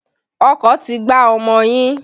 Ọkọ̀ ti gbá ọmọ yín.